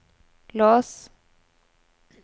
lås